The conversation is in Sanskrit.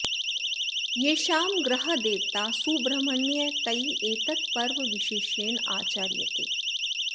येषां गृहदेवता सुब्रह्मण्यः तैः एतत् पर्व विशेषेण आचर्यते